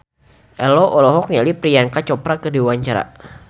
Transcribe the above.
Ello olohok ningali Priyanka Chopra keur diwawancara